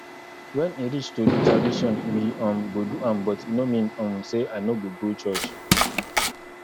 when e reach to do tradition we um go do am but e no mean um say i no go go church